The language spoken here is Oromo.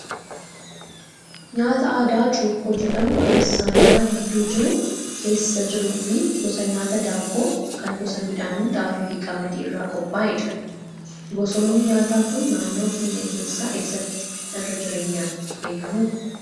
Nyaata aadaa Cuukkoo jedhamu kan saayinaa gidduu jiru keessa jiruu fi gosa nyaataa daabboo kan gosa midhaanii Xaafii fi Qamadii irraa qophaa'edha. Gosoonni nyaataa kun naannoo keenya keessaa eessatti irra jireenyaan beekama?